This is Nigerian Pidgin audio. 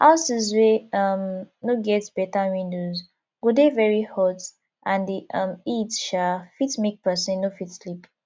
houses wey um no get better windows go dey very hot and di um heat um fit make person no fit sleep